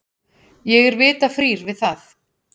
Ég er vita frír við það.